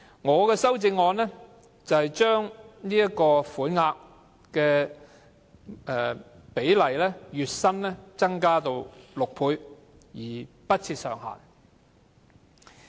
我的修正案建議把款額增至月薪6倍，不設上限。